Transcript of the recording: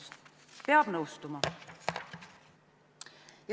Sellega peab nõustuma.